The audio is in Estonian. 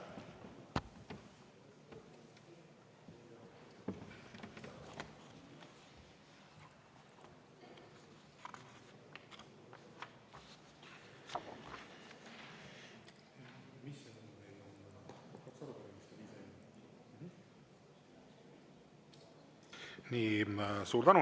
Suur tänu!